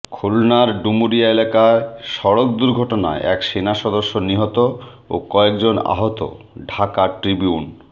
খুলনার ডুমুরিয়া এলাকায় সড়ক দূর্ঘটনায় এক সেনাসদস্য নিহত ও কয়েকজন আহত ঢাকা ট্রিবিউন